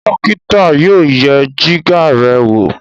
dókítà yóò yẹ Jìgá rẹ wọ